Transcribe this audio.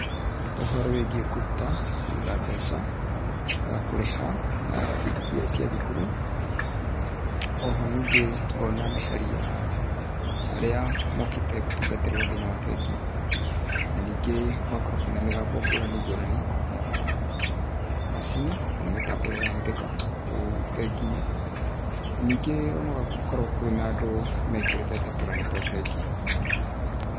Ũhoro wĩgiĩ kũruta, kũiga mbeca, na kũrĩha na bithi iria cia thukuru, oho ningĩ, ngona mĩhari ya, arĩa mokĩte gũtungatĩrũo thĩini wa bengi, na ningĩ, gũgakorũo kwĩna mĩgambo ngũrani ngũrani, ya, macini, kana mĩtambo ĩrĩa ĩrahũthĩka kũu benginĩ, ningĩ ona gũgakorũo kwĩna andũ mekĩrĩte ta tũrani twa bengi.